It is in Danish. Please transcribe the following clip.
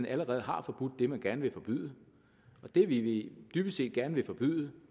allerede har forbudt det man gerne vil forbyde det vi dybest set gerne vil forbyde